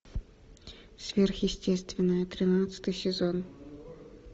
сверхъестественное тринадцатый сезон